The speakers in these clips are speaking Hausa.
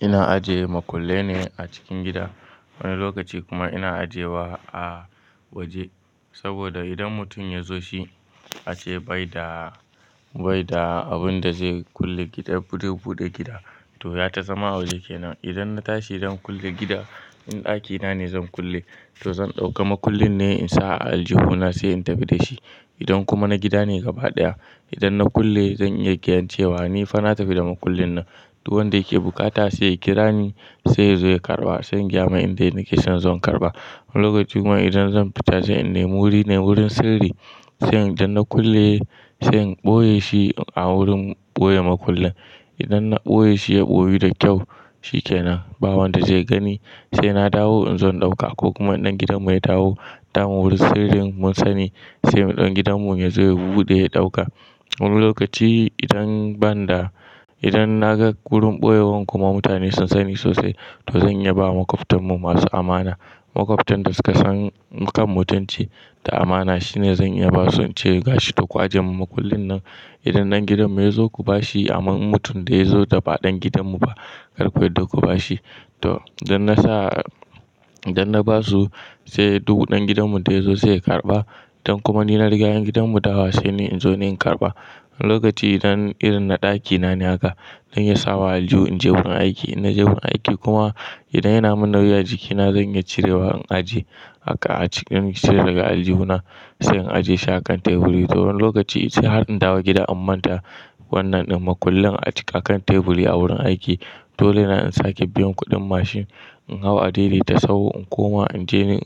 Ina ajiye makullai ne a cikin gida, wani lokaci kuma ina ajiyewa a waje. Saboda idan mutum ya zo shi, ace bai da, bai da abin da zai kulle gidan, ko zai buɗe gida. To ya ta zama waje kenan. Idan na tashi zan kulle gida, in ɗakina ne zan kulle, to zan ɗauki makullin ne in sa a aljihuna sai in tafi da shi. Idan kuma na gida ne gabaɗaya, idan na kulle zan iya ganin cewa ni fa na tafi da makullin nan. To wanda yake buƙata sai ya kira ni, sai ya zo ya karɓa, sai in gaya mai inda nike, sai yazo karɓa. Wani lokaci kuma idan zan fita, sai in nemi wuri ne wurin sirri, sai idan na kulle, sai in ɓoye shi a wurin ɓoye makullin. Idan na ɓoye shi ya ɓoye da kyau, shi kenan. Ba wanda zai gani, sai na dawo in zo in ɗauka ko kuma ɗan gidan mu ya dawo daman wurin sirrin mun sani sai muɗan gidan mu ya zo ya buɗe ya ɗauka. Wani lokaci idan ban da, idan na ga wurin ɓoyewar kuma mutane sun sani sosai, to zan iya ba wa makwabtan mu masu amana. Makwabtan da suka san kan mutunci da amana shine zan iya basu ce gashi, to ku aje mun makullin nan. Idan ɗan gidan mu ya zo ku ba shi, amma mutum da ya zo da ba ɗan gidan mu ba, kar ku yarda ku ba shi. To, idan na sa, idan na ba su sai dubu ɗan gidan mu da ya zo sai ya karɓa. Idan kuma ni na riga yan gidan mu dawowa sai ni in zo ni in karɓa. Wani lokaci idan irin na ɗakina ne haka, zan iya sawa aljihu in je wurin aiki. In na je wurin aiki kuma idan yana mun nauyi a jikina zan iya cirewa in ajiye haka a cikin, cire daga aljihuna sai in ajiye shi akan teburi. To wani lokaci sai har in dawo gida an manta wannan ɗin makullin a cik akan teburi a wurin aiki. Dole na in sake biyan kuɗin mashin, in hau a dai dai ta sahu in koma in je in,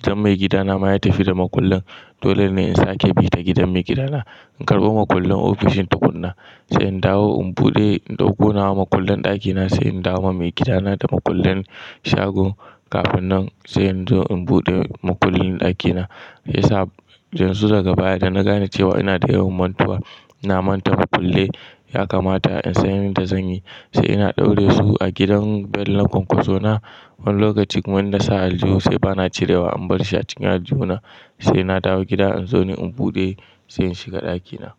idan mai gida na ma ya tafi da makullin. Dole ne in sake bi ta gidan mai gida na, in karɓi makullin ofishin tukun na. Sai in dawo in buɗe in ɗauko nawa makullin ɗakina, sai in dawo ma mai gida na da makullin shago. Kafin nan sai in zo in buɗe makullin ɗakina. Isa, jan su daga baya da na gane cewa ina da yawan mantuwa. Na manta makullin ya kamata in sanya ni da zanyi. Sai ina ɗaure su a gidan bel na ƙwanƙwaso na. Wani lokaci kuma in na sa aljihu sai bana cirewa in bar shi a cikin aljihuna. Sai na dawo gida in zo ni in buɗe sai in shiga ɗakina.